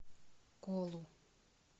колу